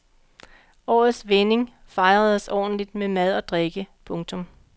Årets vending fejredes ordentligt med mad og drikke. punktum